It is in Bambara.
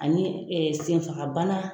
Ani senfaga bana